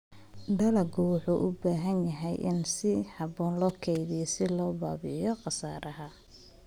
Dalaggu wuxuu u baahan yahay in si habboon loo kaydiyo si loo baabi'iyo khasaaraha.